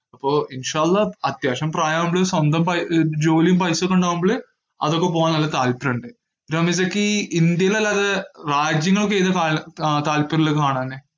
അപ്പോ അത്യാവശ്യം പ്രായാവുമ്പള് സ്വന്തം പൈ~ ജോലിയും paisa യൊക്കെ ഇണ്ടാവുമ്പോള് അതൊക്കെ പോവാൻ നല്ല താല്പര്യമുണ്ട്. റമീസക്ക് ഇന്ത്യയിലല്ലാതെ രാജ്യങ്ങളൊക്കെ ഏതാ താൽ~ താല്പര്യയുള്ള കാണാന്.